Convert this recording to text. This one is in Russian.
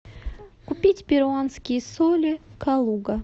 купить перуанские соли калуга